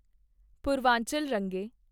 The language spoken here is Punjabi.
ਪੂਰਵਾਂਚਲ ਰੰਗੇ